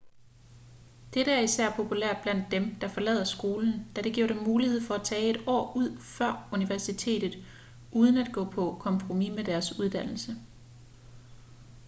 dette er især populært blandt dem der forlader skolen da det giver dem mulighed for at tage et år ud før universitetet uden at gå på kompromis med deres uddannelse